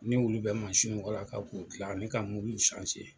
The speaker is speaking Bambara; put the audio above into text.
N'olu bɛ mansiw walaka k'u gilan ne ka .